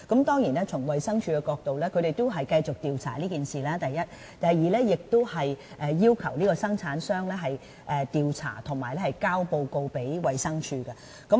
當然，從衞生署的角度，第一，它會繼續調查此事；第二，製造商須進行調查及向衞生署提交報告。